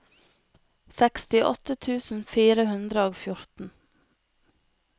sekstiåtte tusen fire hundre og fjorten